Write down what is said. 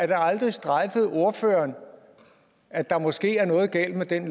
det aldrig strejfet ordføreren at der måske er noget galt med den